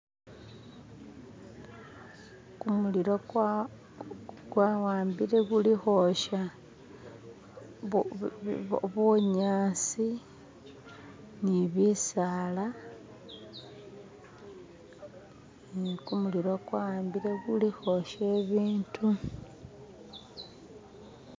Kumulilo kwawambile kuli khwosya bunyasi nibisala uh kumulilo kwawambile kuli ukhwosya bibindu.